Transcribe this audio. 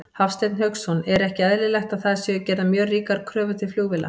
Hafsteinn Hauksson: Er ekki eðlilegt að það séu gerðar mjög ríkar kröfur til flugvéla?